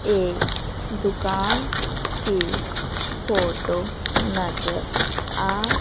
एक दुकान के फोटो नजर आ--